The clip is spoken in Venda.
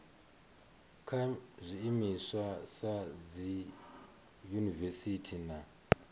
kha zwiimiswa sa dziyunivesiti na